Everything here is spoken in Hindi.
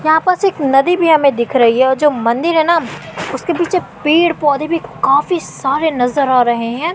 यहां पर सिक नदी भी हमें दिख रही है और जो मंदिर है ना उसके पीछे पेड़ पौधे भी काफी सारे नजर आ रहे हैं।